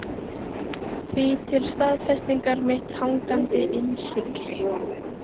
Því til staðfestingar mitt hangandi innsigli.